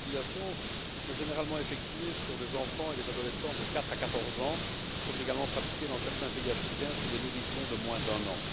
Ces mutilations, qui sont généralement effectuées sur des enfants et des adolescentes de quatre à quatorze ans, sont également pratiquées dans certains pays africains sur des nourrissons de moins d'un an.